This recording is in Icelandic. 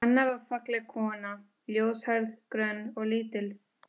Anna var falleg kona, ljóshærð, grönn og lítil.